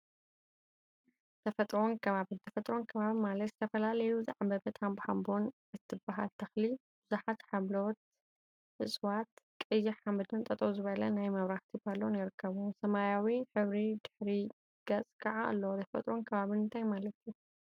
ተፈጥሮን አከባቢን ተፈጥሮን አከባቢን ማለት ዝተፈላለዩ ዝዓምበበት ሃምበሃምቦ እትበሃል ተክሊ፣ ቡዙሓት ሓምለዎት እፅዋት፣ ቀይሕ ሓመድን ጠጠው ዝበለ ናይ መብራህቲ ፓሎን ይርከቡዎም፡፡ ሰማያዊ ሕብሪ ድሕረ ገፅ ከዓ አለዎ፡፡ ተፈጥሮን አከባቢን እንታይ ማለት እዩ?